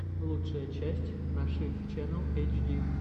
лучшая часть нашид ченнал эйчди